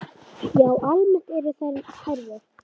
Já, almennt eru þau hærri.